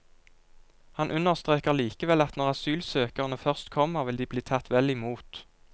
Han understreker likevel at når asylsøkerne først kommer, vil de bli tatt vel imot.